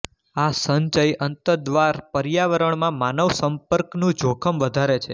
આ સંચય અંતર્દ્વાર પર્યાવરણમાં માનવ સંપર્કનું જોખમ વધારે છે